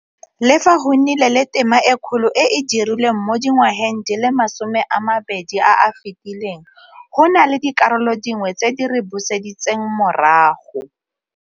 Le fa go nnile le tema e kgolo e e dirilweng mo dingwageng di le masomeamabedi a a fetileng, go na le dikarolo dingwe tse di re buseditseng morago.